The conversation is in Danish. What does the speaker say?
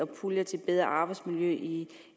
pulje til bedre arbejdsmiljø i